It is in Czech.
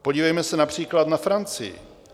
Podívejme se například na Francii.